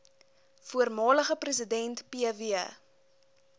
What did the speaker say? voormalige president pw